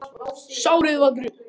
Sárið var grunnt.